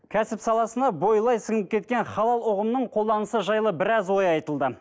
кәсіп саласына бойлай сіңіп кеткен халал ұғымының қолданысы жайлы біраз ой айтылды